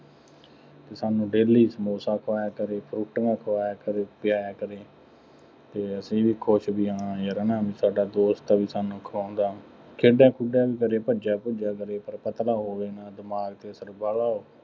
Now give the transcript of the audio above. ਸਾਨੂੰ daily ਸਮੋਸਾ ਖਵਾਇਆ ਕਰੇ। ਫਰੂਟੀਆਂ ਖਵਾਇਆ ਕਰੇ, ਪਿਆਇਆ ਕਰੇ ਅਤੇ ਅਸੀਂ ਵੀ ਖੁਸ਼ ਬਈ ਹਾਂ ਯਾਰ ਹੈ ਨਾ ਸਾਡਾ ਦੋਸਤ ਹੈ ਬਈ ਸਾਨੂੰ ਖਵਾਉਂਦਾ, ਖੇਡਿਆ ਖੂਡਿਆ ਵੀ ਕਰੇ, ਭੱਜਿਆ ਭੁੱਜਿਆ ਕਰੇ, ਪਰ ਪਤਲਾ ਹੋਵੇ ਨਾ, ਦਿਮਾਗ ਤੇ ਅਸਰ ਵਾਹਲਾ